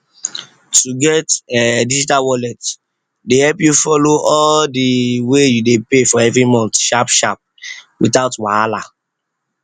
to get em digital wallet dey help you follow all de wey you dey pay every month without wahala